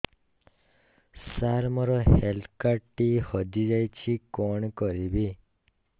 ସାର ମୋର health card ଟି ହଜି ଯାଇଛି କଣ କରିବି